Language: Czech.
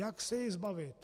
Jak se jej zbavit?